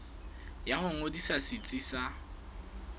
ya ho ngodisa setsi sa